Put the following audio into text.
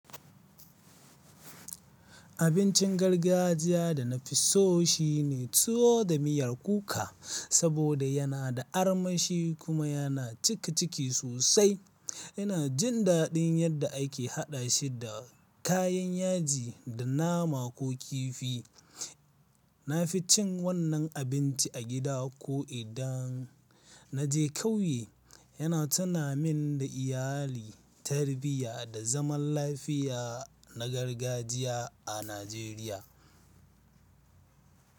Abincin gargajiya da na fi so shi ne tuwo da miyar kuka saboda yana da armashi kuma yana cike ciki sosai. Ina jin daɗin yadda ake haɗa shi da kayan yaji da nama ko kifi. Na fi cin wannan abinci a gida ko idan na je ƙauye. Yana tunamin da iyali, tarbiyya, da zaman lafiya na gargajiya a Najeriya.